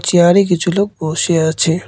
চেয়ারে কিছু লোক বসে আছে।